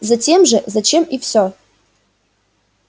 затем же зачем и всё